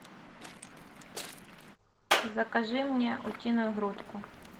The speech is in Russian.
закажи мне утиную грудку